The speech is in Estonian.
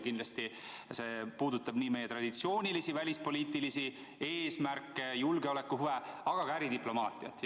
Kindlasti see puudutab nii meie traditsioonilisi välispoliitilisi eesmärke, julgeolekuhuve, kui ka äridiplomaatiat.